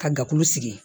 Ka dakulu sigi